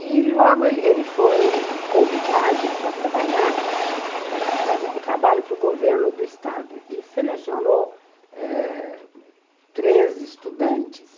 E, logo, ele ele foi convidado para trabalhar eh, fazer um trabalho para o governo do estado e selecionou eh três estudantes.